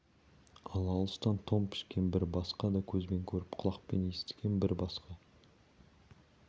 ал алыстан тон пішкен бір басқа да көзбен көріп құлақпен естіген бір басқа